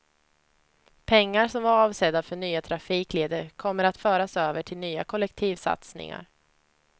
Pengar som var avsedda för nya trafikleder kommer att föras över till nya kollektivsatsningar.